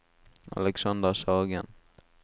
Alexander Sagen